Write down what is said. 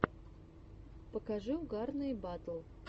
покажи угарные батл